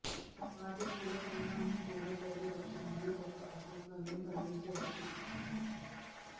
వాటి కూడా పరిమాణం కూడా పెరగవచ్చు మరియు కొంత అసౌకర్యం కలిగించవచ్చు